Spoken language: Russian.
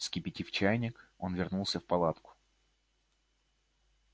вскипятив чайник он вернулся в палатку